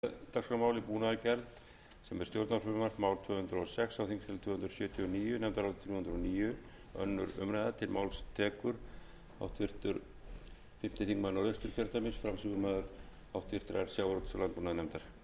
hæstvirtur forseti ég mæli fyrir nefndaráliti frá sjávarútvegs og landbúnaðarnefnd um breyting á lögum númer áttatíu og fjögur nítján hundruð níutíu og sjö um búnaðargjald nefndin fjallaði um málið og fékk á fund sinn ólaf friðriksson frá sjávarútvegs og landbúnaðarráðuneyti